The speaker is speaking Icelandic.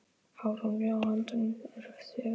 Hárin á höndunum á þér eru falleg.